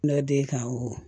kan wo